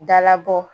Dalabɔ